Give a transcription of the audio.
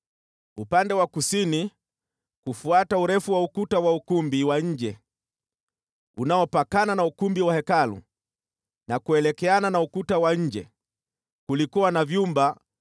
Upande wa kusini kufuata urefu wa ukuta wa ukumbi wa nje, unaopakana na ukumbi wa Hekalu na kuelekeana na ukuta wa nje, kulikuwa na vyumba